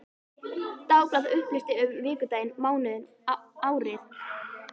Dagblað upplýsti um vikudaginn, mánuðinn, árið.